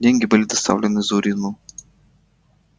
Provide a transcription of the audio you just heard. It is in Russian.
деньги были доставлены зурину